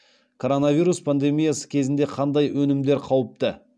коронавирус пандемиясы кезінде қандай өнімдер қауіпті